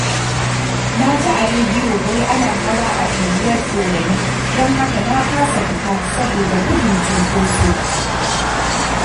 Na ji a rediyo wai ana hawa a unguwar Ɗorayi, don haka na fasa fita saboda gudun cinkoso